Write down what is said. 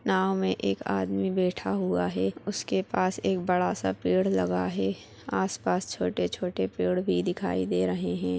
नाँव मे एक आदमी बैठा हुआ हे उसके पास एक बड़ा सा पेड़ लगा हे आस पास छोटे छोटे पेड़ भी दिखाई दे रहें हैं।